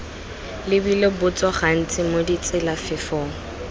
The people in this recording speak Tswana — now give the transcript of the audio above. lebile botso gantsi mo ditselafefong